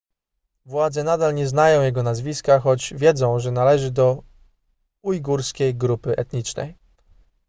władze nadal nie znają jego nazwiska choć wiedzą że należy do ujgurskiej grupy etnicznej